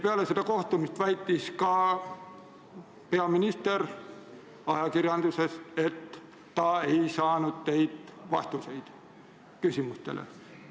Peale seda kohtumist väitis ka peaminister ajakirjanduses, et ta ei saanud teilt vastuseid küsimustele.